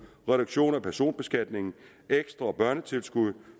reduktion af personbeskatningen et ekstra børnetilskud et